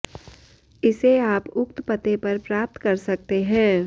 इसे आप उक्त पते पर प्राप्त कर सकते हैं